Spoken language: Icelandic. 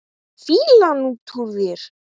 Fýlan út úr þér!